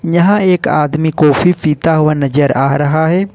यहां एक आदमी कॉफी पीता हुआ नजर आ रहा है।